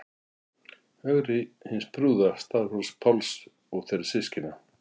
Ögri hins prúða, Staðarhóls-Páls og þeirra systkina.